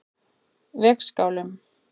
Vegskálum